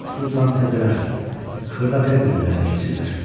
Xüsusan təzələr xırda fermerlər ələ keçirlər.